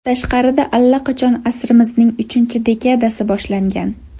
Tashqarida allaqachon asrimizning uchinchi dekadasi boshlangan.